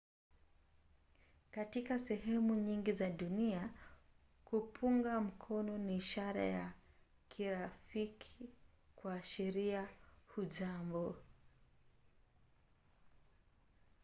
katika sehemu nyingi za dunia kupunga mkono ni ishara ya kirafiki kuashiria hujambo.